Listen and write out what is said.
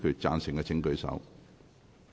贊成的請舉手。